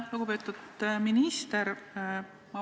Lugupeetud minister!